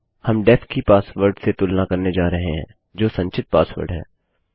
हम डेफ की पासवर्ड से तुलना करने जा रहे हैं जो संचित पासवर्ड है